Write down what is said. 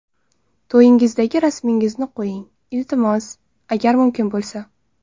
To‘yingizdagi rasmingizni qo‘ying, iltimos, agar mumkin bo‘lsa.